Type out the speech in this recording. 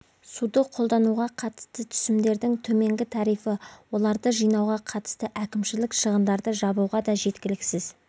суды қолдануға қатысты түсімдердің төменгі тарифі оларды жинауға қатысты кімшілік шығындарды жабуға да жеткіліксіз